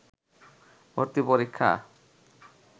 ভর্তি পরীক্ষা